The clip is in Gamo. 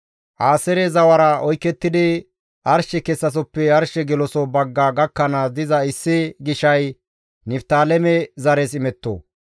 Aaseere zawara oykettidi arshe kessasoppe arshe geloso bagga gakkanaas diza issi gishay Niftaaleme zares imetto.